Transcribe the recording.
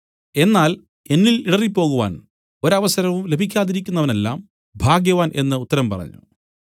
എന്നാൽ എന്നിൽ ഇടറിപ്പോകുവാൻ ഒരവസരവും ലഭിക്കാതിരിക്കുന്നവനെല്ലാം ഭാഗ്യവാൻ എന്നുത്തരം പറഞ്ഞു